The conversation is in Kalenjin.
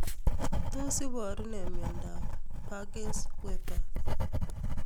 Tos iparu nee miondopParkes Weber